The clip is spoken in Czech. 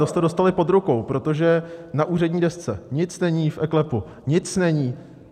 To jste dostali pod rukou, protože na úřední desce nic není, v eKLEPu nic není.